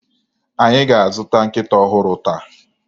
Anyị ga-azụta nkịta ọhụrụ taa